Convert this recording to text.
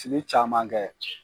Fili caman kɛ